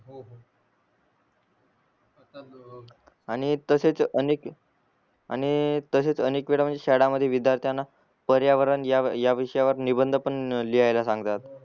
आणि तसेच अनेक आणि तसेच अनेक वेडा म्हणजे शाळा मध्ये विध्यार्थ्यांना पर्यावरण या या विषयावर निबंध पण लिहायला सांगतात